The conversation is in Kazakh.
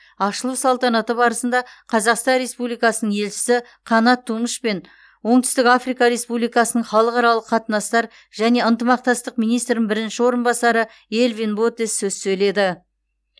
ашылу салтанаты барысында қазақстан республикасының елшісі қанат тумыш пен оңтүстік африка республикасының халықаралық қатынастар және ынтымақтастық министрінің бірінші орынбасары элвин ботес сөз сөйледі